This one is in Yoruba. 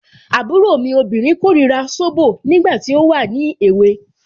Àbúrò mi obìnrin korira zobo, nígbà tí ó wà ní èwe.